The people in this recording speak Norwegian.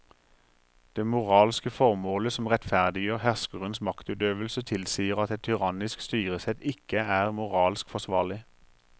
Det moralske formålet som rettferdiggjør herskerens maktutøvelse tilsier at et tyrannisk styresett ikke er moralsk forsvarlig.